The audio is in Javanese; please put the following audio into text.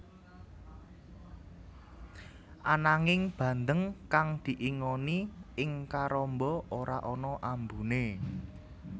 Ananging bandeng kang diingoni ing karamba ora ana ambuné